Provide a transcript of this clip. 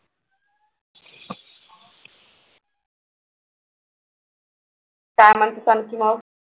काय म्हणतेस आणखी मग